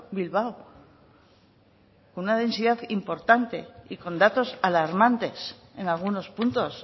bilbao con una densidad importante y con datos alarmantes en algunos puntos